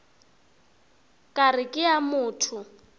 ka re ke a motho